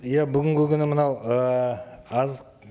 иә бүгінгі күні мынау ы азық